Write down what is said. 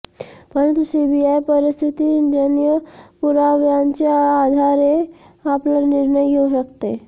परंतु सीबीआय परिस्थितीजन्य पुराव्यांच्या आधारे आपला निर्णय घेऊ शकते